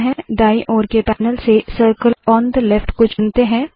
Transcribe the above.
दाएँ ओर के पैनल से सर्किल ओन थे लेफ्ट को चुनते है